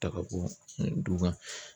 Ta ka bɔ du kɔnɔ